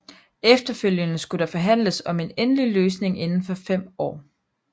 Efterfølgende skulle der forhandles om en endelig løsning inden for fem år